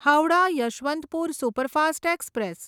Howrah Yesvantpur superfast express